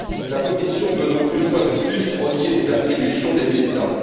La Commission veut donc une fois de plus renier les attributions des États.